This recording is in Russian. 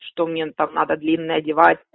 что мне там надо длинное одевать